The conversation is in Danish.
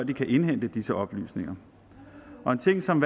de kan indhente disse oplysninger og en ting som